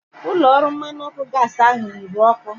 Ụlọ ọrụ mmanụ ọkụ gaasi ahu nwụrụ ọkụ